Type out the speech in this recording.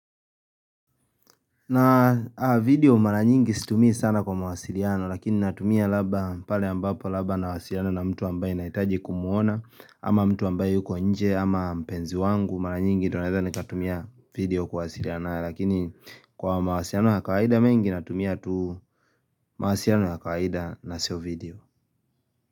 Na video mara nyingi situmii sana kwa mawasiliano lakini natumia labda pale ambapo labda nawasiliana na mtu ambaye nahitaji kumuona ama mtu ambaye yuko nje ama mpenzi wangu mara nyingi ndio naeza nikatumia video kuwasiliana naye lakini kwa mawasiliano ya kawaida mengi natumia tu mawasiliano ya kawaida na sio video.